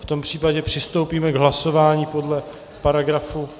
V tom případě přistoupíme k hlasování podle paragrafu...